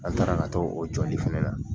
An taara ka t'o jɔli fana na.